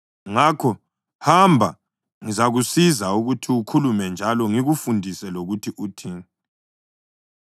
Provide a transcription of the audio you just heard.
Ngakho hamba, ngizakusiza ukuthi ukhulume njalo ngikufundise lokuthi uthini.”